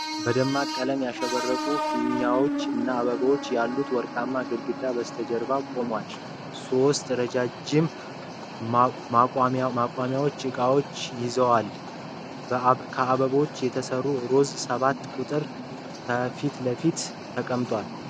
በደማቅ ቀለማት ያሸበረቁ ፊኛዎች እና አበቦች ያሉት ወርቃማ ግድግዳ በስተጀርባ ቆሟል። ሶስት ረዣዥም ማቋሚያዎች እቃዎችን ይይዛሉ። ከአበቦች የተሰራ ሮዝ ሰባት ቁጥር ከፊትለፊት ተቀምጧል።